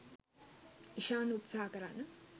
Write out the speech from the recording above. ඉශාන් උත්සහා කරන්න